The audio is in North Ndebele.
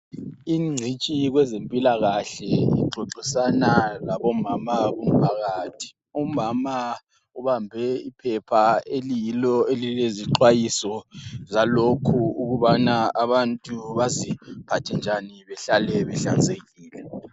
Ingcitshi kwezempilakahle ixoxisana labomama kumphakathi. Umama ubambe iphepha eliyilo elilezixwayiso zalokhu ukubana abantu baziphathe njani behlale behlanzekile.